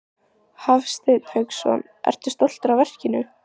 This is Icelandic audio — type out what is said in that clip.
Hafsteinn Hauksson: Ertu stoltur af verkinu?